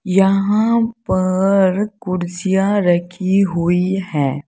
यहां पर कुर्सियां रखी हुई है।